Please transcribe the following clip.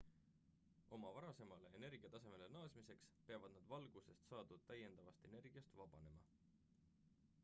oma varasemale energiatasemele naasmiseks peavad nad valgusest saadud täiendavast energiast vabanema